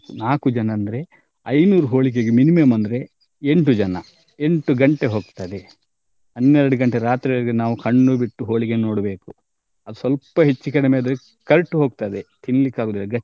ನಾಕು ಜನ ಅಂದ್ರೆ ಐನೂರು ಹೋಳಿಗೆಗೆ minimum ಅಂದ್ರೆ ಎಂಟು ಜನ ಎಂಟು ಗಂಟೆ ಹೋಗ್ತದೆ ಹನ್ನೆರಡು ಗಂಟೆ ರಾತ್ರಿವರ್ಗೂ ನಾವ್ ಕಣ್ಣು ಬಿಟ್ಟು ಹೋಳ್ಗೆ ನೋಡ್ಬೇಕು ಅದ್ ಸ್ವಲ್ಪ ಹೆಚ್ಚ್ ಕಡಿಮೆ ಆದ್ರೆ ಕರ್ಟ್ ಹೊಗ್ತದೆ ತಿನ್ನಲಿಕ್ಕೆ ಆಗುದಿಲ್ಲ.